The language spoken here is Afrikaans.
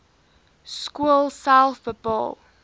skool self bepaal